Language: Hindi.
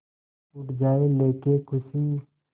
उड़ जाएं लेके ख़ुशी